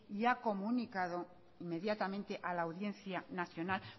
y ha comunicado inmediatamente a la audiencia nacional